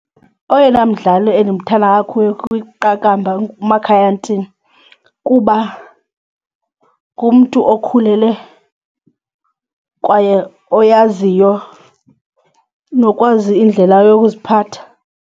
Oyena mdlali endimthanda kakhulu kwiqakamba nguMakhaya Ntini kuba ngumntu okhulele kwaye oyaziyo nokwazi indlela yokuziphatha.